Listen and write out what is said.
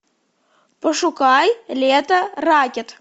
пошукай лето ракет